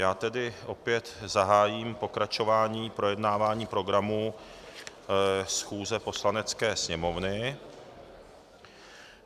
Já tedy opět zahájím pokračování projednávání programu schůze Poslanecké sněmovny.